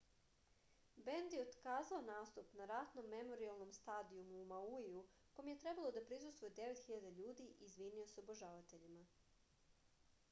bend je otkazao nastup na ratnom memorijalnom stadijumu u mauiju kom je trebalo da prisustvuje 9000 ljudi i izvinio se obožavateljima